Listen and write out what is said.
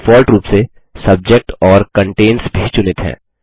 default रूप से subject और कंटेन्स भी चुनित हैं